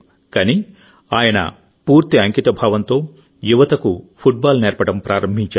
కానీ ఆయన పూర్తి అంకితభావంతో యువతకు ఫుట్బాల్ నేర్పడం ప్రారంభించాడు